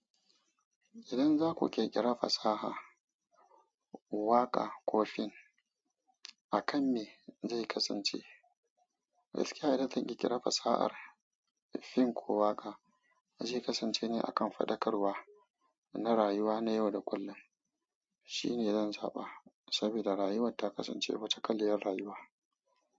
Idan za ku ƙirƙira fasaha, waƙa ko fim, a kan me zai kasance? Alƙa'idar da zan ƙirƙiri fasahar fim ko waƙa zai kasance ne a kan faɗakarwa na rayuwa na yau da kullum. Shi ne zan saba saboda rayuwa ta kasance wata kaliyar rayuwa.